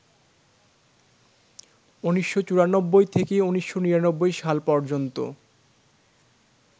১৯৯৪ থেকে ১৯৯৯ সাল পর্যন্ত